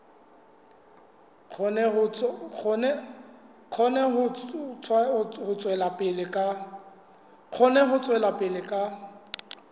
kgone ho tswela pele ka